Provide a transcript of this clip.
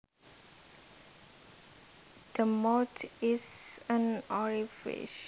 The mouth is an orifice